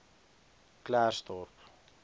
klersdorp